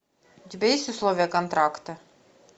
у тебя есть условия контракта